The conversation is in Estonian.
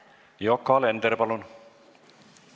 Yoko Alender, palun!